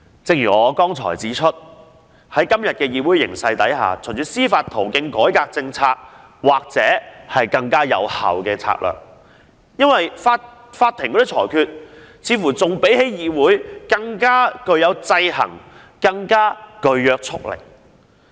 正如我剛才所指，在今天的議會形勢下，循司法途徑改革政策或許是更有效的策略，因為法庭的裁決似乎比議會的討論更具制衡力及約束力。